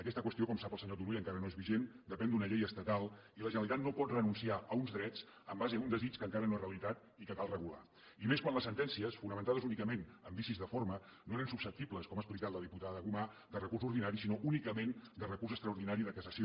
aquesta qüestió com sap el senyor turull encara no és vigent depèn d’una llei estatal i la generalitat no pot renunciar a uns drets amb base a un desig que encara no és realitat i que cal regular i més quan les sentències fonamentades únicament en vicis de forma no eren susceptibles com ha expli cat la diputada gomà de recurs ordinari sinó únicament de recurs extraordinari de cassació